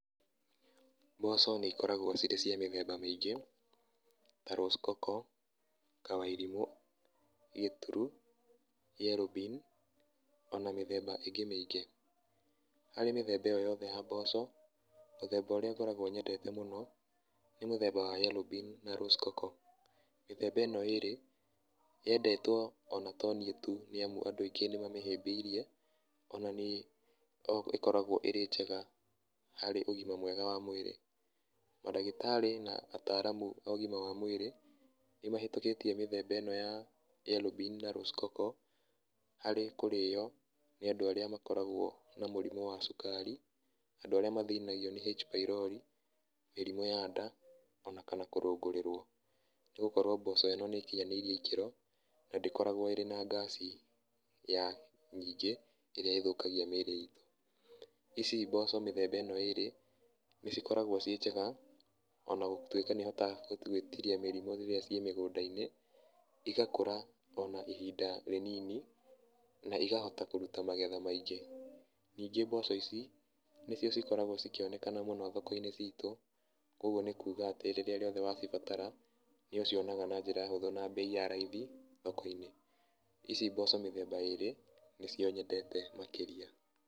Mboco nĩ ikoragwo cirĩ cia mĩthemba mĩingĩ ta Rose Coco, Kawairimũ, Gĩturu, Yellow bean ona mĩthemba ĩngĩ mĩingĩ. Harĩ mĩthemba ĩyo yothe ya mboco, mũthemba ũrĩa ngoragwo nyendete mũno nĩ mũthemba wa Yellow bean na Rose coco. Mĩthemba ĩno ĩrĩ yendetwo ona to niĩ tu nĩ amu andũ aingĩ nĩ mamĩhĩmbĩirie tondũ ĩkoragwo ĩrĩ njega harĩ ũgima mwega wa mwĩrĩ. Mandagĩtarĩ na ataaramu a ũgima wa mwĩrĩ nĩ mahĩtũkĩtie mĩthemba ĩno ya Yellow bean na Rose coco, harĩ kũrĩo nĩ andũ arĩa makoragwo na mũrimũ wa cukari, andũ arĩa mathĩnagio nĩ H-pylori, mĩrimũ ya nda ona kana kũrũngũrĩrwo. Nĩ gũkorwo mboco ĩno nĩ ĩkinyanĩire ikĩro na ndĩkoragwo ĩrĩ na gas ya nyingĩ ĩrĩa ĩthũkagia mĩĩrĩ itũ. Ici mboco mĩthemba ĩno ĩĩrĩ nĩ cikoragwo ciĩ njega ona gũtuĩka nĩ ihotaga gwĩtiria mĩrimũ rĩrĩa ciĩ migũnda-inĩ. Igakũra ona ihinda rĩnini na ikahota kũruta magetha maingĩ. Ningĩ mboco ici nicio cikoragwo cikĩonekana mũno thoko-inĩ citũ, koguo nĩ kuga atĩ rĩrĩa wacibatara nĩ ũcionaga na njĩra hũthũ na mbei ya raithi thoko-inĩ. Ici mboco mĩthemba ĩrĩ nĩcio nyendete makĩria.